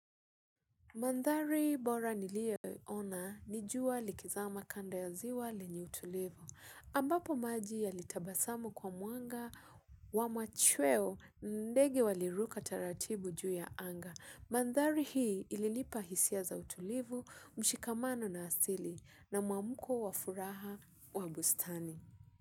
Mandhari bora niliyoona ni jua likizama kando ya ziwa lenye utulivu. Ambapo maji yalitabasamu kwa mwanga wa machweo ndege waliruka taratibu juu ya anga. Mandhari hii ilinipa hisia za utulivu, mshikamano na asili na mwaamko wa furaha wa bustani.